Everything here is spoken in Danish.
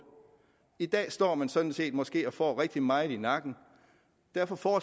i dag står man sådan set måske og får rigtig meget i nakken og derfor